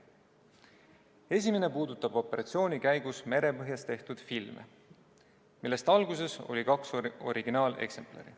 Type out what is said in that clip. Esimene puudutab operatsiooni käigus merepõhjas tehtud filme, millest alguses oli kaks originaaleksemplari.